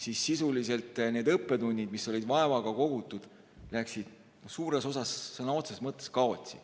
Siis sisuliselt need õppetunnid, mis olid vaevaga kogutud, läksid suures osas sõna otseses mõttes kaotsi.